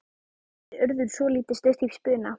spurði Urður svolítið stutt í spuna.